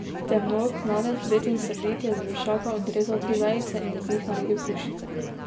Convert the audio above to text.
Temnook mladec, bled in srdit, je z vršaka odrezal tri vejice in iz njih naredil puščice.